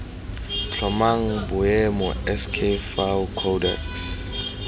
tlhomang boemo sk fao codex